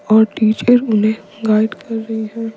और टीचर उन्हें गाइड कर रही हैं।